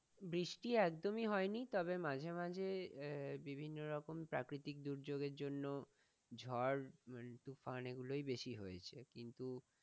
বৃষ্টি একদমই হয়নি তবে মাঝে মাঝে আহ বিভিন্ন রকম প্রাকৃতিক দুর্যোগ এর জন্য ঝড় মানে তুফান এগুলোই বেশি হয়েছে কিন্তু,